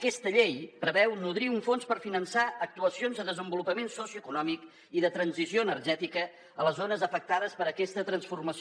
aquesta llei preveu nodrir un fons per finançar actuacions de desenvolupament socioeconòmic i de transició energètica a les zones afectades per aquesta transformació